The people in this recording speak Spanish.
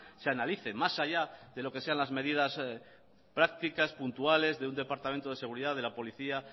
se analice más allá de lo que sean las medidas prácticas puntuales de un departamento de seguridad de la policía